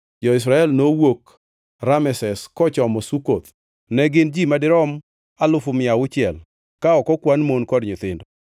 Jo-Israel nowuok Rameses kochomo Sukoth; ne gin ji madirom alufu mia auchiel ka ok okwan mon kod nyithindo.